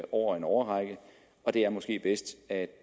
over en årrække og det er måske bedst at